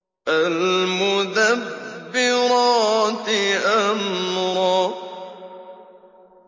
فَالْمُدَبِّرَاتِ أَمْرًا